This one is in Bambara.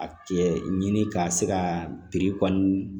A tigɛ ɲini ka se ka biri kɔni